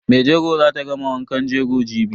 Maijego zata gama wankan jego jibi.